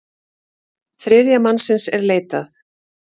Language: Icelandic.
Þriðja mannsins er leitað.